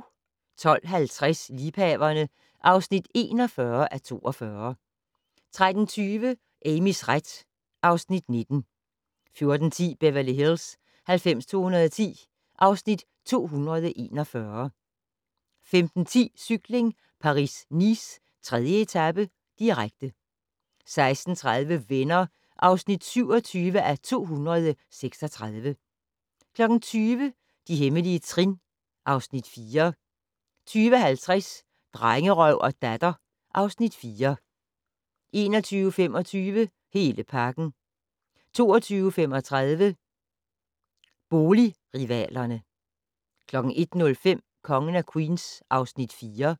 12:50: Liebhaverne (41:42) 13:20: Amys ret (Afs. 19) 14:10: Beverly Hills 90210 (Afs. 241) 15:10: Cykling: Paris-Nice - 3. etape, direkte 16:30: Venner (27:236) 20:00: De hemmelige trin (Afs. 4) 20:50: Drengerøv og Datter (Afs. 4) 21:25: Hele pakken 22:35: Boligrivalerne 01:05: Kongen af Queens (Afs. 4)